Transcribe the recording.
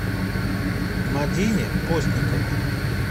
мадине постниковой